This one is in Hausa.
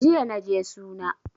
Jiya naje suna